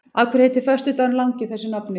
Af hverju heitir föstudagurinn langi þessu nafni?